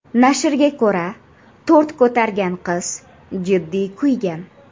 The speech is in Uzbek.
Nashrga ko‘ra, tort ko‘targan qiz jiddiy kuygan.